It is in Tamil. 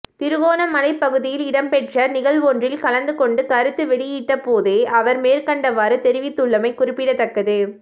திருகோணமலை பகுதியில் இடம்பெற்ற நிகழ்வொன்றில் கலந்து கொண்டு கருத்து வௌியிட்ட போதே அவர் மேற்கண்டவாறு தெரிவித்துள்ளமை குறிப்பிடத்தக்கது